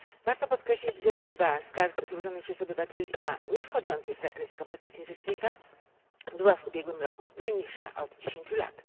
Warto podkreślić, że liczba skarg złożonych przez obywateli, a niewchodzących w zakres kompetencji Rzecznika, była w ubiegłym roku najniższa od dziesięciu lat.